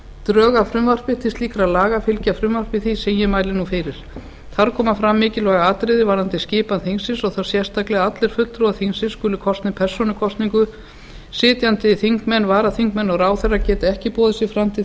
drög að frumvarpi til slíkra laga fylgja frumvarpi því sem ég mæli nú fyrir þar koma fram mikilvæg atriði um skipan þingsins þá sérstaklega að allir fulltrúar þingsins skuli kosnir persónukosningu að sitjandi þingmenn varaþingmenn og ráðherrar geti ekki boðið sig fram til